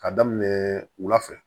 K'a daminɛ wula fɛ